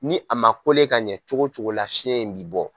Ni a ma ka ɲɛ cogo cogo la fiɲɛ in bi bɔ